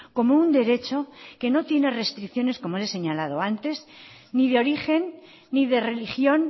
como un derecho que no tiene restricciones como le he señalado antes ni de origen ni de religión